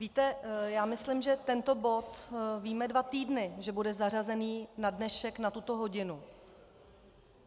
Víte, já myslím, že tento bod víme dva týdny, že bude zařazený na dnešek na tuto hodinu.